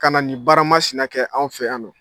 Kana na nin baara masina kɛ anw fɛ yan nɔ.